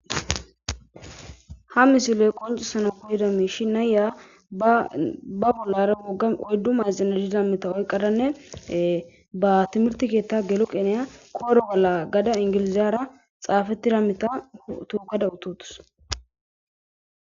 Ha misiloy qoncisana kulida miishi naya ba bollara mugga oyddu maazina dida mita oyqadanne ba timirtikeetta gelo qineya koro bolla gada ingiliziyara xaafetida mita tukada utotus.